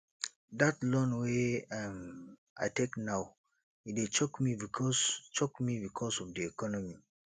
dat loan wey um i take now e dey choke me because choke me because of di economy